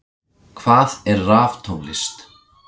Hvað er raftónlist?